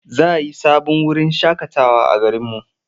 Za a yi sabon wurin shaƙatawa a garinmu.